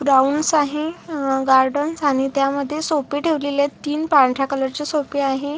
Grounds आहे अह garden आणि त्यामध्ये सोफे ठेवलेले आहेत तीन पांढऱ्या कलर चे सोफे आहे.